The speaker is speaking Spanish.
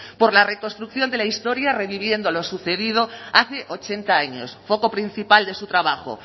por la reconstrucción de la historia reviviendo lo sucedido hace ochenta años foco principal de su trabajo